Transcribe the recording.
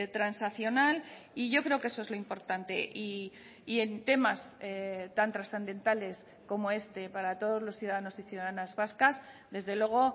transaccional y yo creo que eso es lo importante y en temas tan trascendentales como este para todos los ciudadanos y ciudadanas vascas desde luego